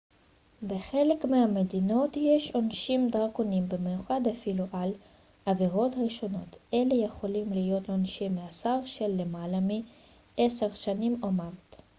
בחלק מהמדינות יש עונשים דרקוניים במיוחד אפילו על עבירות ראשונות אלה יכולים להיות עונשי מאסר של למעלה מ-10 שנים או מוות